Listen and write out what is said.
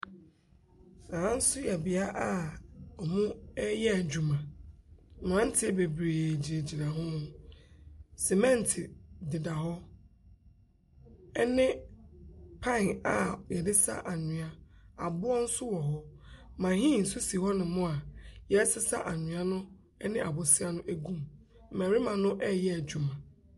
Aha so yɛ bea a ɔmo ɛyɛ edwuma. Mberantiɛ bebree gyinagyina ho. Semɛnt deda hɔ ɛne paen a yɛde sa anwia. Aboɔ so wɔ hɔ. Mahiin so si hɔ no mo a yɛsesa anwia no ɛne abosia no egum. Mbɛrema no ɛɛyɛ edwuma.